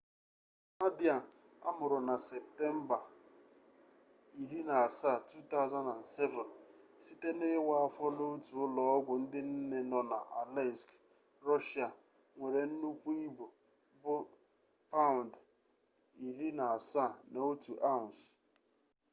nadia amụrụ na septemba 17 2007 site n'iwa afọ n'otu ụlọ ọgwụ ndị nne nọ na aleisk rọshịa nwere nnukwu ibu bụ 17 paụnd 1 ounce